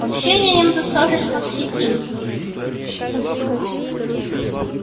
общения им достаточно в сети